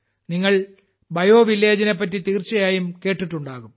നിങ്ങൾ Biovillageനെപ്പറ്റി തീർച്ചയായും കേട്ടിട്ടുണ്ടാകും